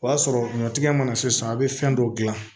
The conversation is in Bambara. O y'a sɔrɔ ɲɔtigɛ mana se san be fɛn dɔ gilan